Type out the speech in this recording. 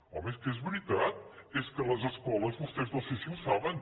home és que és veritat és que les escoles vostès no sé si ho saben